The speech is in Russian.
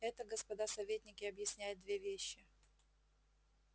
это господа советники объясняет две вещи